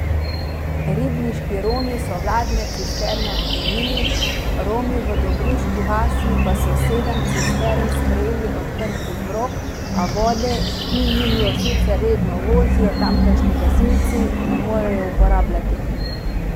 Ribniški Romi so vladne cisterne odklonili, Romi v Dobruški vasi pa so sedem cistern sprejeli odprtih rok, a vode, ki jim jo sicer redno vozijo tamkajšnji gasilci, ne morejo uporabljati.